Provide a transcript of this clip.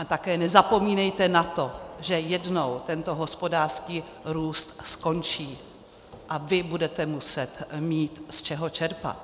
A také nezapomínejte na to, že jednou tento hospodářský růst skončí a vy budete muset mít z čeho čerpat.